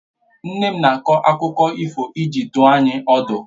Nne m na - akọ akụkọ ifo iji dùọ anyị ọdu